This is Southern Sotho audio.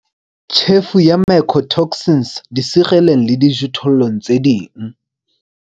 Tjhefo ya mycotoxins disereleng le dijothollong tse ding